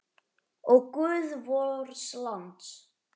Ó, guð vors lands!